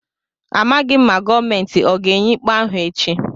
A maghị m ma gọọmentị ọ ga-enye ikpe ahụ echi.